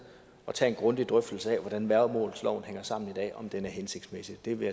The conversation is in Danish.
og tage en grundig drøftelse af hvordan værgemålsloven hænger sammen i dag og om den er hensigtsmæssig det vil